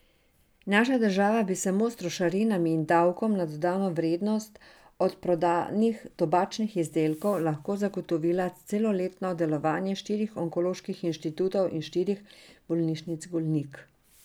Naša država bi samo s trošarinami in davkom na dodano vrednost od prodanih tobačnih izdelkov lahko zagotovila celoletno delovanje štirih onkoloških inštitutov in štirih bolnišnic Golnik.